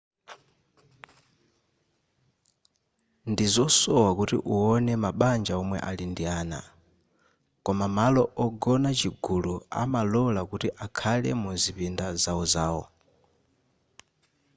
ndizosowa kuti uwone mabanja omwe ali ndi ana koma malo ogona chigulu amalola kuti akhale muzipinda zawozawo